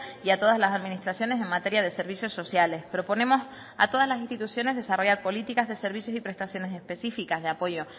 y a todas las administraciones en materia de servicios sociales proponemos a todas las instituciones desarrollar políticas de servicios y prestaciones específicas de apoyo